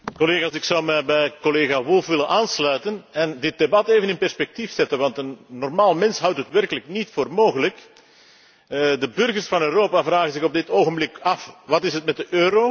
Ik zou me bij collega Woolfe willen aansluiten en dit debat even in perspectief willen plaatsen, want een normaal mens houdt het werkelijk niet voor mogelijk. De burgers van Europa vragen zich op dit ogenblik af Wat is dat met de euro?